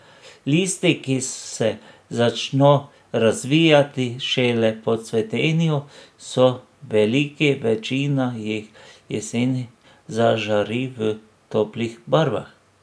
Listi, ki se začno razvijati šele po cvetenju, so veliki, večina jih jeseni zažari v toplih barvah.